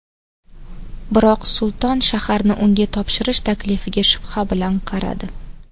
Biroq Sulton shaharni unga topshirish taklifiga shubha bilan qaradi.